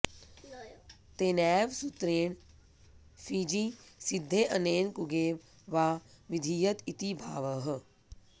तेनैव सुत्रेण फिञि सिद्धे अनेन कुगेव वा विधीयत इति भावः